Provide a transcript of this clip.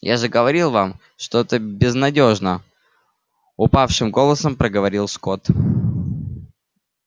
я же говорил вам что это безнадёжно упавшим голосом проговорил скотт